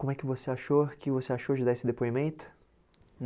Como é que você achou o que você achou de dar esse depoimento?